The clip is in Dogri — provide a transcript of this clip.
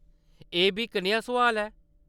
एह्‌‌ बी कनेहा सुआल ऐ !